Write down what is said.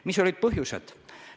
Mis olid põhjused?